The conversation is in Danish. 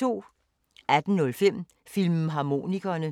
18:05: Filmharmonikerne